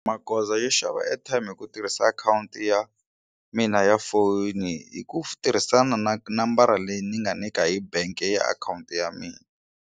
Magoza yo xava airtime hi ku tirhisa akhawunti ya mina ya foni hi ku tirhisana na nambara leyi ni nga nyika hi bank ya akhawunti ya mina.